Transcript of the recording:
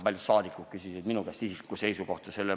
Paljud saadikud küsisid minu käest isiklikku seisukohta.